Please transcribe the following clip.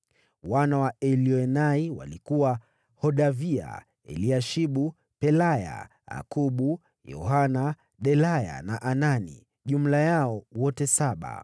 Wana wa Elioenai walikuwa: Hodavia, Eliashibu, Pelaya, Akubu, Yohanani, Delaya na Anani; jumla yao wote saba.